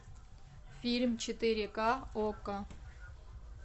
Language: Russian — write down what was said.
фильм четыре ка окко